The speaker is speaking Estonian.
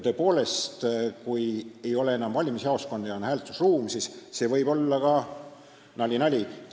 Tõepoolest, kui ei ole enam valimisjaoskondi ja on hääletusruum, siis see võib olla ka – nali-nali!